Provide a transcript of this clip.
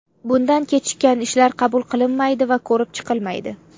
Bundan kechikkan ishlar qabul qilinmaydi va ko‘rib chiqilmaydi.